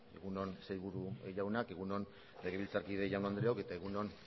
egun on sailburu jaunak egun on legebiltzarkide jaun andreok eta egun on